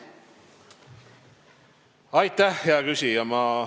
Aitäh, hea küsija!